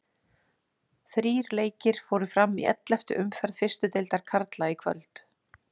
Þrír leikir fóru fram í elleftu umferð fyrstu deildar karla í kvöld.